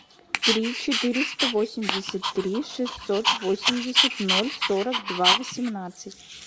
три четыреста восемьдесят три шестьсот восемьдесят ноль сорок два восемнадцать